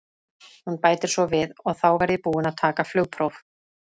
Hún bætir svo við: og þá verð ég búin að taka flugpróf.